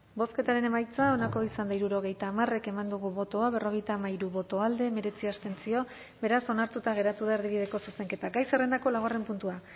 bozketaren emaitza onako izan da hirurogeita hamar eman dugu bozka berrogeita hamairu boto alde hemeretzi abstentzio beraz onartuta geratu da erdibideko zuzenketa gai zerrendako laugarren puntua